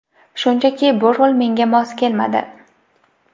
Shunchaki bu rol menga mos kelmadi.